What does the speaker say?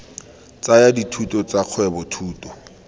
tsaya dithuto tsa kgwebo thuto